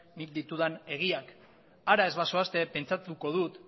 nik ditudan egiak hara ez bazoazte pentsatuko dut